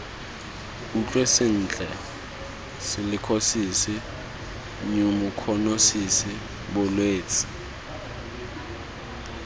utlwe sentle silikhosisi nyumokhonosisi bolwetse